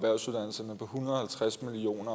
hundrede og halvtreds million